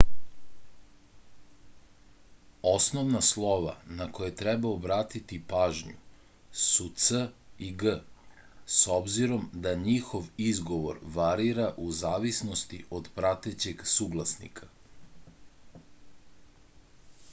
osnovna slova na koje treba obratiti pažnju su c i g s obzirom da njihov izgovor varira u zavisnosti od pratećeg suglasnika